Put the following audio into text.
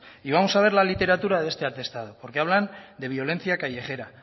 y vamos a dar la literatura de este atestado porque hablan de violencia callejera